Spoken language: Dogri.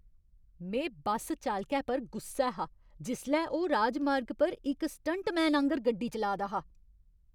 में बस चालकै पर गुस्सै हा जिसलै ओह् राजमार्ग पर इक स्टंटमैन आंह्‌गर गड्डी चलाऽ दा हा।